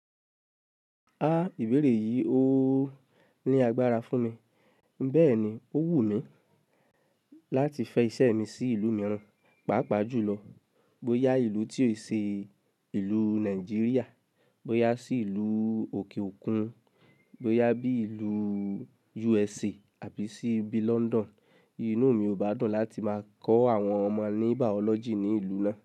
A ibere yi o ni agbara fun mi, beeni o wu mi lati fe ise mi si ilu miiran, paapaa ju lo, boya ilu ti o se ilu Nigeria, boya si ilu oke okun, boya bi ilu USA abi si bi London, inu mi o ba dun lati ma ko awon omo ni biology ni ilu na.